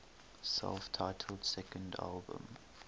self titled second album